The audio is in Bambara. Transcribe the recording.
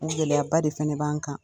O gɛlɛyaba de fɛnɛ b'an kan.